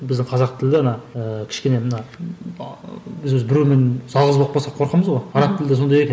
біздің қазақ тілді ана ыыы кішкене мына ы біз өзі біреумен жалғыз болып қалсақ қорқамыз ғой араб тілі де сондай екен